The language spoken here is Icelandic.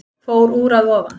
Fór úr að ofan